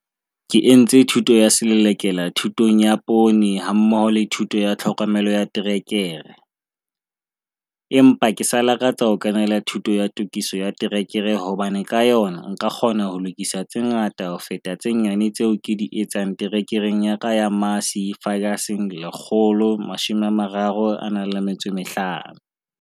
Ke entse thuto ya Selelekela Thutong ya Poone hammoho le Thuto ya Tlhokomelo ya Terekere, empa ke sa lakatsa ho kenela Thuto ya Tokiso ya Terekere hobane ka yona nka kgona ho lokisa tse ngata ho feta tse nyane tseo ke di etsang terekereng ya ka ya Massey Ferguson 135.